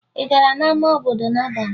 Ị gara n'ama obodo n'abalị?